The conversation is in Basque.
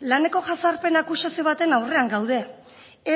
laneko jazarpen akusazio baten aurrean gaude